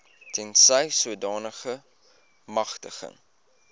tensy sodanige magtiging